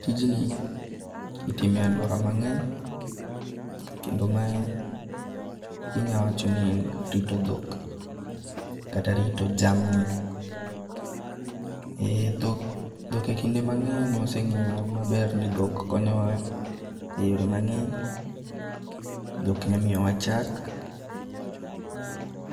Tijni itime e aluora mang'eny kendo mae inyawacho ni en rito dhok kata rito jamni. E dhok e kinde mang'eny waseng'eyo maber ni dhok konyowa e yore mang'eny. Dhok nyamiyowa chak.